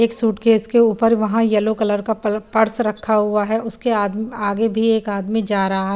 एक सूटकेस के ऊपर वहां येलो कलर का पल पर्स रखा हुआ है उसके आद आगे भी एक आदमी जा रहा--